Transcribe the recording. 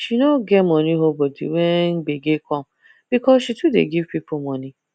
she no get money hold body when gbege come because she too dey give people money